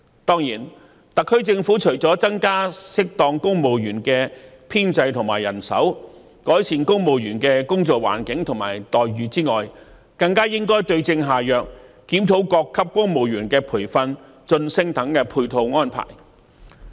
當然，特區政府除了適當增加公務員的編制和人手，以及改善公務員的工作環境和待遇外，更應該對症下藥，檢討各級公務員的培訓、晉升等配套安排。